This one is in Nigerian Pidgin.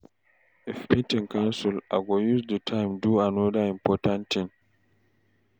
If meeting cancel, I go use the time do another important thing.